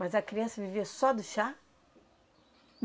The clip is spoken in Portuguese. Mas a criança vivia só do chá?